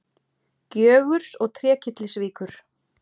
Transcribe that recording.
Gjögurs og Trékyllisvíkur.